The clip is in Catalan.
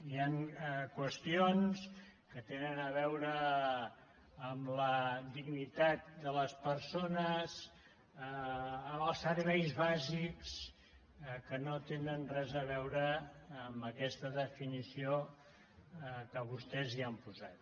hi han qüestions que tenen a veure amb la dignitat de les persones amb els serveis bàsics que no tenen res a veure amb aquesta definició que vostès hi han posat